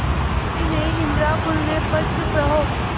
अभी नहीं निद्रा खुलने पर चुप रहो